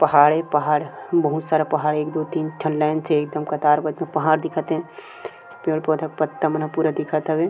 पहाड़ ही पहाड़ हु बहुत सारा पहाड़ एक दो तीन ठन ए एकदम कतार बद्ध पहाड़ दिखत हे पेड़-पौधा के पत्ता मन ह पूरा दिखत हवे।